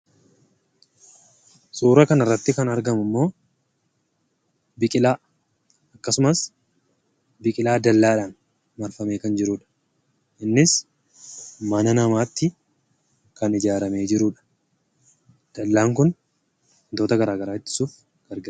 Suuraa kanarratti kan argamummoo biqilaa, akkasumas biqilaa dallaadhaan marfamee kan jiruudha. Innis mana namaatti kan ijaaramee jiruudha. Dallaan kun wantoota garagaraa ittisuuf gargaara.